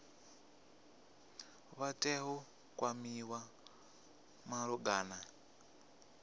vha tea u kwamiwa malugana